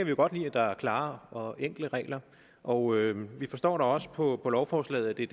jo godt lide at der er klare og enkle regler og vi forstår da også på på lovforslaget at det